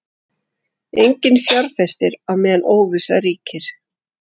Enginn fjárfestir á meðan óvissa ríkir